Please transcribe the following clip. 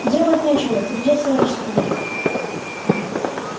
делать нечего придётся рискнуть